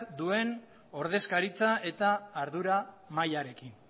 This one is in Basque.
duen ordezkaritza eta ardura mailarekin